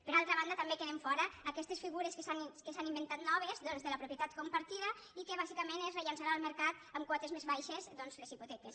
per altra banda també queden fora aquestes figures que s’han inventat noves doncs de la propietat compartida i que bàsicament és rellançada al mercat amb quotes més baixes doncs les hipoteques